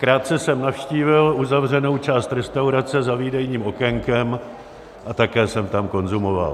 Krátce jsem navštívil uzavřenou část restaurace za výdejním okénkem a také jsem tam konzumoval.